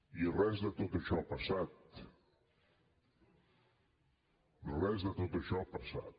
i res de tot això ha passat res de tot això ha passat